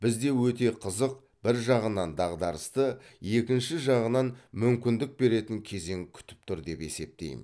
бізді өте қызық бір жағынан дағдарысты екінші жағынан мүмкіндік беретін кезең күтіп тұр деп есептеймін